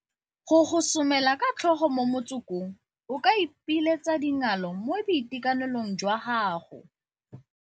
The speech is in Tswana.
Go gosomela ka tlhogo mo motsokong o ka ipiletsa dingalo mo boitekanelong jwa gago